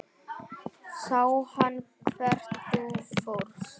Sá hann hvert þú fórst?